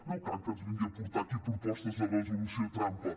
no cal que ens vingui aquí a portar propostes de resolució trampa